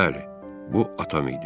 Bəli, bu atam idi.